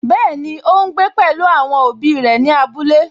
Bẹ́ẹ̀ni, ó ún gbé pẹ̀lú àwọn òbí òbí rẹ̀ ní abúlé